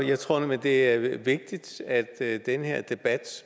jeg tror nemlig det er vigtigt at den her debat